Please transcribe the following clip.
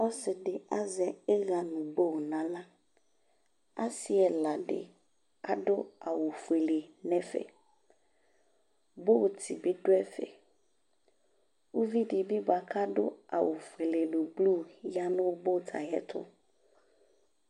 Ɔse de azɛ iha no boo nahla? Ase ɛla de aso awufuele nɛfɛ Boot be do ɛfɛUvi de be boa kado awu fuele no ublu ya no boot ayeto